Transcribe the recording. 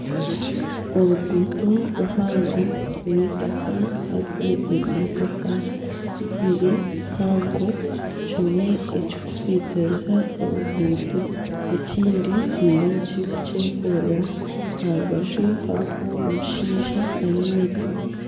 Oruguuto ruhango rw'eitaka hariho ebimotoka bibiri bihango kimwe kirikusitiriza oruguuto, ekindi kiriyo nikiza kukyekorera aha rubaju hariho omushaija ayemereire